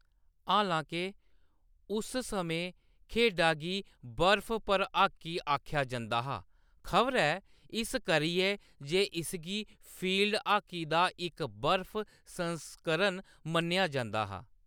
हालांके, उस समें, खेढा गी "बर्फ पर हाकी" आखेआ जंदा हा, खबरै इस करियै जे इसगी फील्ड हाकी दा इक बर्फ संस्करण मन्नेआ जंदा हा।